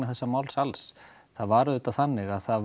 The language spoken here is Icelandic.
þessa máls alls það var auðvitað þannig að það